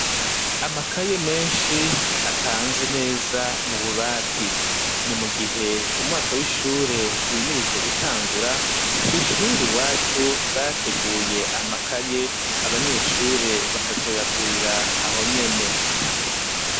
Amakaye meshi apanze neza mu bubati ni mugihe umwaka w'ishure wimirije gutangura kw'ishuri iwacu bateguye amakaye abanyeshure bakazoyagurira ahonyene.